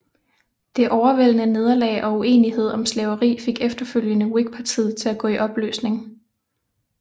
Det overvældende nederlag og uenighed om slaveri fik efterfølgende Whigpartiet til at gå i opløsning